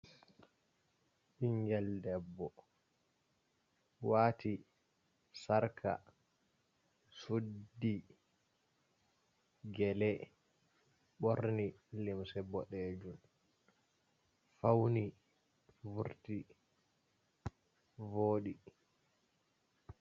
Ɓingel debbo wati sarka, suddi gele ɓorni limse boɗeje fauni vurti vodi.